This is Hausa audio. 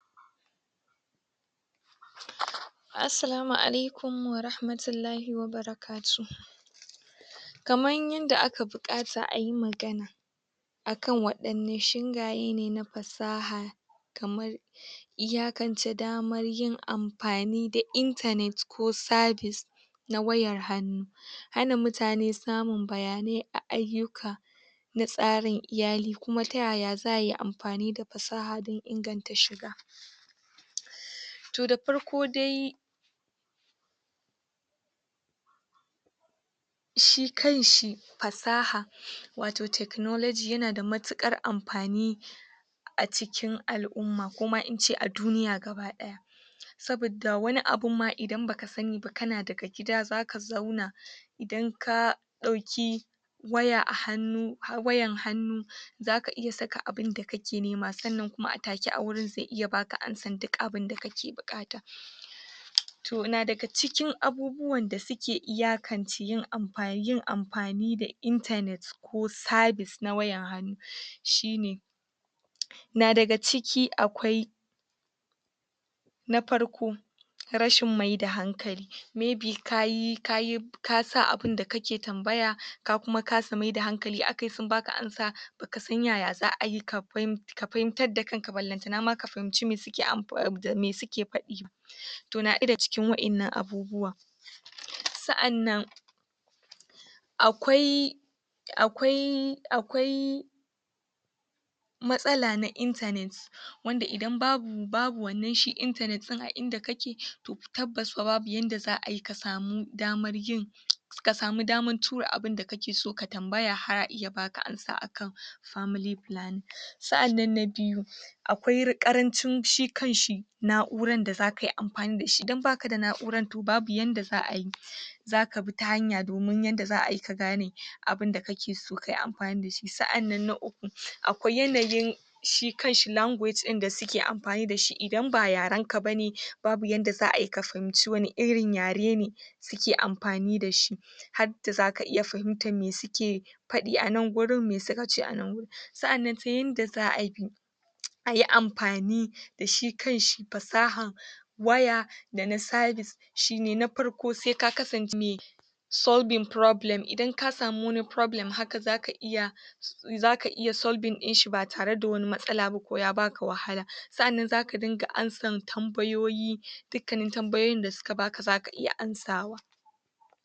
Assalamu Alaikum warahmatllahi wa barkatuhu Kamar yadda aka bukata a yi magana Akan wadanne shingaye ne na fasaha kamar yin amfani da internet ko service na wayar hannu, hana mutane samun bayanai a ayyuka da tsarin iyali kuma taya za a yi amfani da fasaha dan inganta shiga to da farko de shi kanshi fasaha wato technology yana da matukar amfani a cikin al umma koma ince a duniya gabadaya saboda wani abun ma idan baka sani ba kana daga gida zaka sani idan ka dauki wayar hannu zaka saka abunda kake nema sannan a take a gurin ze baka amsar da kake bukata yana daga cikin abubuwan da suke amfani da internet ko service na wayar hannu shine na daga ciki akwai na farko rashin mayar da hankali maybe kasa abunda kake tambaya kuma ka kasa mayar da hankali sun baka amsa baka san yaya zaka yi ka fahimtar da kanka balantana ka fahimce me suke nufi ba me suke fadi to na daya daga cikin wannan abubuwan sa annan akwai akwai akwai matsala na internet wanda idan babu shi internet din a inda kake tabbas babu yanda za ayi ka samu damar yin kasamu damar tura abunda kake tambaya har a iya baka amsa family planning sa annan na biyu akwai karancin shi kanshi na'ura da zakayi amfani dashi dan baka da na'ura to babu yanda za'ayi zaka bi ta hanya domin yadda za'ayi kake gane abunda kake so kayi amfani dashi sa'annan na uku akwai yanayin shi kanshi language din dasuke amfani dashi idan ba yarenka bane babu yacce za'ayi ka fahimce wani rin yare ne suke amfani dashi hadda zaka fahimce me sukeyi me suka fadi a nan gurin me suakce a nan gurin sa'annan ta yacce za'ayi ayi amfani dashi kanshi fasahar waya da na service na farko se ka kasance mai solving problem, idan kasami wani problem zaka iya solving problem, idan kasamu wani problem zaka iya sa'annan zaka dinga amsar tambayoyi duk kan tambayoyin da suka baka zaka iya amsawa